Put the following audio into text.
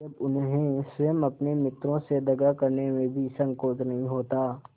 जब उन्हें स्वयं अपने मित्रों से दगा करने में भी संकोच नहीं होता